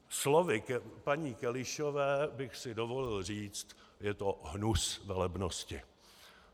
Slovy paní Kelišové bych si dovolil říct: Je to hnus, velebnosti!